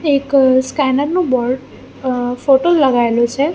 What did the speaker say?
એક સ્કેનર નુ બોર્ડ અ ફોટો લગાઇલુ છે.